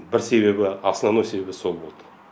бір себебі основной себебі сол болды